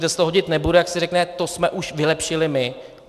Kde se to hodit nebude, tak se řekne: to jsme už vylepšili my.